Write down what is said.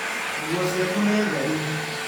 Nguo ciaku nĩ theru.